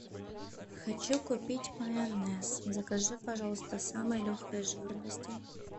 хочу купить майонез закажи пожалуйста самой легкой жирности